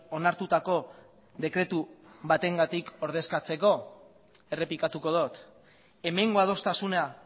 onartutako dekretu batengatik ordezkatzeko errepikatuko dut hemengo adostasuna